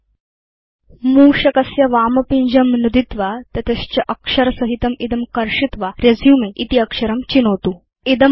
अथ प्रथमं मूषकस्य वामपिञ्जं नुदित्वा तत च अक्षरसहितं इदं कर्षित्वा रेसुमे इति अक्षरं चिनोतु